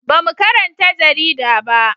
Ba mu karanta jarida ba